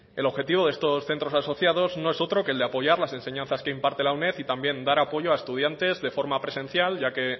el objetivo de esto centros asociados no es otro que el de apoyar la enseñanzas que imparte la uned y también dar apoyo a estudiantes de forma presencial ya que